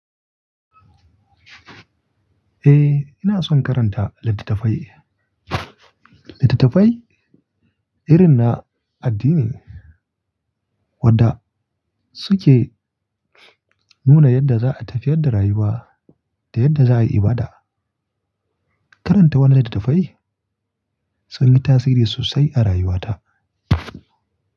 Eh, ina son karanta littattafai. Littattafai irin na addini wadda suke nuna yadda za a tafiyar da rayuwa da yadda za a yi ibada. Karanta wani littattafai sun yi tasiri sosai a rayuwata.